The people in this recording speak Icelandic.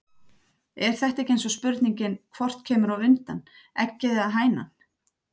Er þetta ekki eins og spurningin hvort kemur á undan. eggið eða hænan????